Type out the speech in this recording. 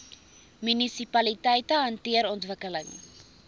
munisipaliteite hanteer ontwikkeling